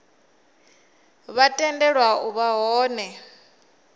vha tendelwa u vha hone